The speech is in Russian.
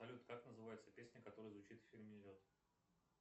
салют как называется песня которая звучит в фильме лед